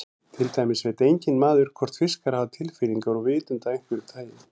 Til dæmis veit enginn maður hvort fiskar hafa tilfinningar og vitund af einhverju tagi.